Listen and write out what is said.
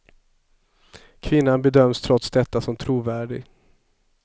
Kvinnan bedöms trots detta som trovärdig.